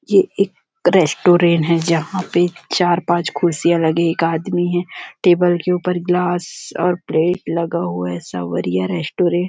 ये एक रेस्टोरेंट है जहां पे चार-पांच खुशियां लगे एक आदमी है टेबल के ऊपर ग्लास और प्लेट लगा हुआ है सावरिया रेस्टोरेंट --